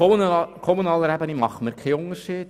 Auf kommunaler Ebene machen wir keinen Unterschied.